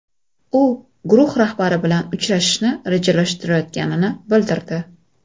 U guruh rahbari bilan uchrashishni rejalashtirayotganini bildirdi.